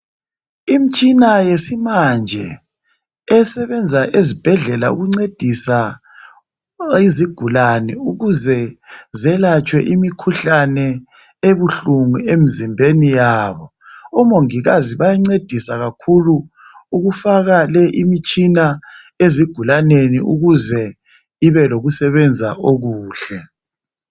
Imtshina yesimanje esebenza ezibhendlela ukuncedisa izigulane ukuze zelatshwe imikhuhlane ebuhlungu emzimbeni yabo omongikazi bayancedisa kakhulu ukufaka le imitshina ezigulaneni ukuze ibe lokusebenza okuhle